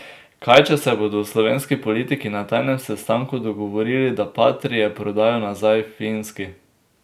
Kaj če se bodo slovenski politiki na tajnem sestanku dogovorili, da patrie prodajo nazaj Finski?